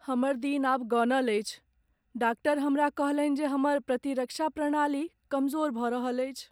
हमर दिन आब गनल अछि । डाक्टर हमरा कहलनि जे हमर प्रतिरक्षा प्रणाली कमजोर भऽ रहल अछि।